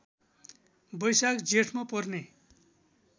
बैशाख जेठमा पर्ने